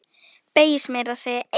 Beygist meira að segja eins!